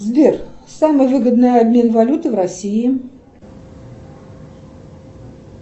сбер самый выгодный обмен валюты в россии